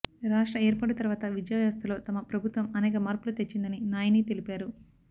రాష్ట్ర ఏర్పాటు తర్వాత విద్యా వ్యవస్థలో తమ ప్రభుత్వం అనేక మార్పులు తెచ్చిందని నాయిని తెలిపారు